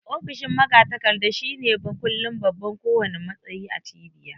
Ofishin magatakarda shine mukullin ko wanna babban matsayi a cibiya